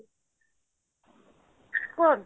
କୁହନ୍ତୁ